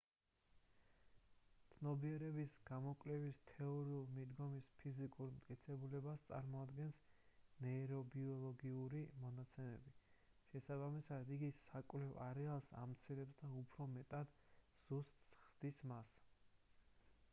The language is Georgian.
ცნობიერების გამოკვლევის თეორიული მიდგომის ფიზიკურ მტკიცებულებას წარმოადგენს ნეირობიოლოგიური მონაცემები შესაბამისად იგი საკვლევ არეალს ამცირებს და უფრო მეტად ზუსტს ხდის მას